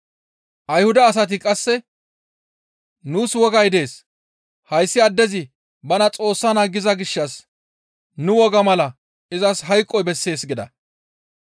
Ayhuda asati qasse, «Nuus wogay dees; hayssi addezi bana Xoossa naa giza gishshas nu woga mala izas hayqoy bessees» gida.